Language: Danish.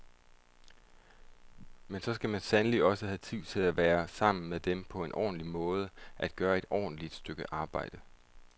Men så skal man sandelig også have tid til at være sammen med dem på en ordentlig måde, at gøre et godt stykke arbejde.